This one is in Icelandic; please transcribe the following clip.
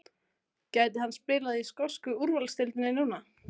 Gæti hann spilað í skosku úrvalsdeildinni núna?